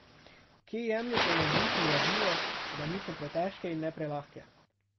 Kje jemljete navdih in gradivo, da niso pretežke in ne prelahke?